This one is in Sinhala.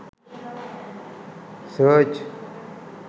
search